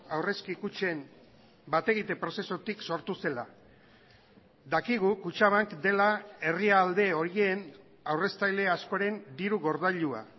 aurrezki kutxen bategite prozesutik sortu zela dakigu kutxabank dela herrialde horien aurreztaile askoren diru gordailua